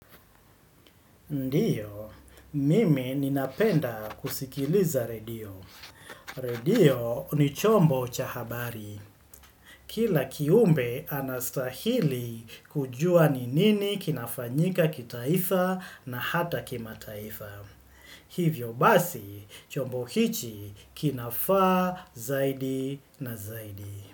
Ndiyo, mimi ninapenda kusikiliza redio. Redio ni chombo cha habari. Kila kiumbe anastahili kujua ni nini kinafanyika kitaifa na hata kimataifa. Hivyo basi, chombo hichi kinafaa zaidi na zaidi.